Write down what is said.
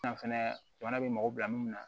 Na fɛnɛ jamana bɛ mɔgɔ bila mun na